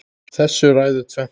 Þessu ræður tvennt